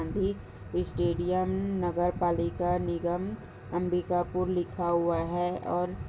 stadium नगर पालिका निगम अम्बिकापुर लिखा हुआ है और--